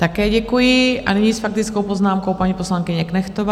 Také děkuji A nyní s faktickou poznámkou paní poslankyně Knechtová.